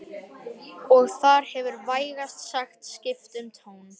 Og þar hefur vægast sagt skipt um tón